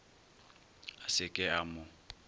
a se ke a mo